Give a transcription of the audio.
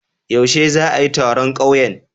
Yaushe za'a yi taron ƙauyen?